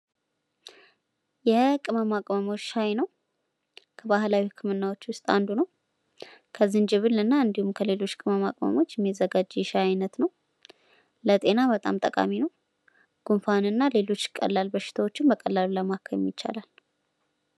የቅመማ ቅመሞች ሻይ ነው። ከባህላዊ ህክምናዎች ውስጥ አንዱ ነው። ከዝጅብል እንዲሁም ከተለያዩ ቅመማ ቅመሞች የሚዘጋጅ የሻይ አይነት ነው። ለጤና በጣም ጠቃሚ ነው። ጉፋንና ሌሎች ቀላል በሽታዎችን በቀላሉ ለማከም ይቻላል።